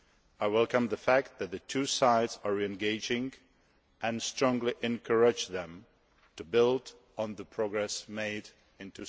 I welcome the fact that the two sides are re engaging and strongly encourage them to build on the progress made